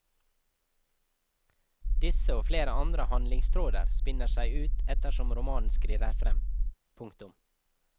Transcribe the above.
Disse og flere andre handlingstråder spinner seg ut ettersom romanen skrider frem. punktum